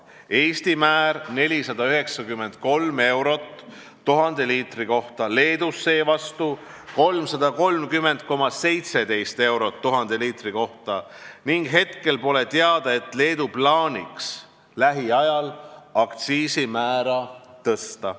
Eestis on määr 493 eurot 1000 liitri kohta, Leedus seevastu 330,17 eurot 1000 liitri kohta ning pole teada, et Leedu plaaniks lähiajal aktsiisimäära tõsta.